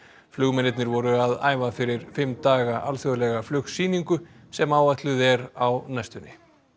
flugmennirnir voru að æfa fyrir fimm daga alþjóðlega sem áætluð er á næstunni